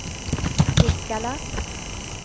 Nikkala